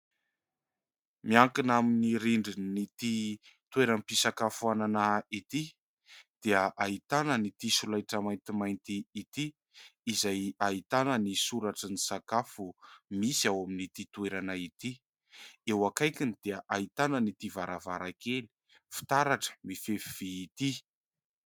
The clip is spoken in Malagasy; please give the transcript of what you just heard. Miankina amin'ny rindrina ity toeram-pisakafoana ity dia ahitana an'ity solaitra maintimainty ity izay ahitana ny soratra ny sakafo misy ao amin'ity toerana ity. Eo akaikiny dia ahitana an'ity varavarankely fitaratra mifefy vy ity.